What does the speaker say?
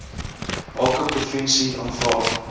elke provinsie aanvra